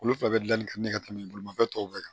Olu fila bɛ dilanni ka ɲɛ ka tɛmɛ bolimafɛn tɔw bɛɛ kan